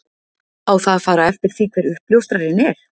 Á það að fara eftir því hver uppljóstrarinn er?